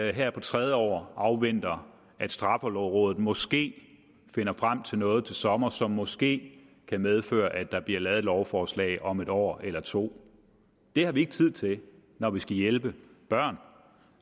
ikke her på tredje år afventer at straffelovrådet måske finder frem til noget til sommer som måske kan medføre at der bliver lavet et lovforslag om et år eller to det har vi ikke tid til når vi skal hjælpe børn